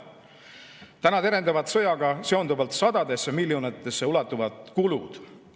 Täna terendavad sõjaga seonduvalt sadadesse miljonitesse ulatuvad kulud.